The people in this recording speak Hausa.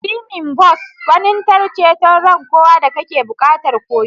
Swimming Bos gwanintar ceton ran kowa da kake buƙatar koyo.